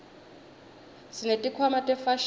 sesineti khwama tefashini